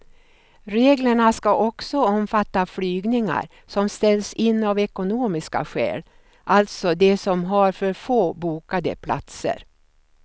Reglerna ska också omfatta flygningar som ställs in av ekonomiska skäl, alltså de som har för få bokade platser.